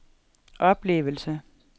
oplevelse